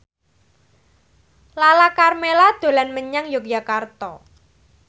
Lala Karmela dolan menyang Yogyakarta